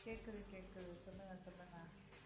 கேக்குது கேக்குது சொல்லுங்க சொல்லுங்க